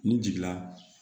N'i jiginna